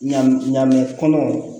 Ɲamu ɲaŋami kɔnɔ